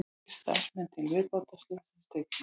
Tveir starfsmenn til viðbótar slösuðust einnig